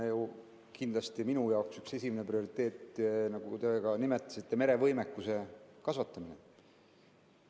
Jah, kindlasti, minu üks esimesi prioriteete, mida te ka nimetasite, on merevõimekuse kasvatamine.